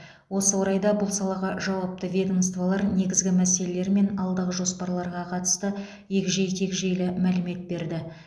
осы орайда бұл салаға жауапты ведомстволар негізгі мәселелер мен алдағы жоспарларға қатысты егжей тегжейлі мәлімет берді